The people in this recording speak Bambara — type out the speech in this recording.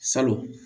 Salon